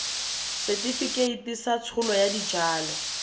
setefikeiti sa tsholo ya dijalo